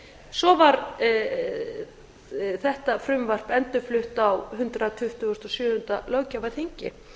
svo var þetta frumvarp endurflutt á hundrað tuttugasta og sjöunda löggjafarþingi